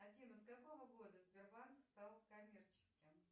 афина с какого года сбербанк стал коммерческим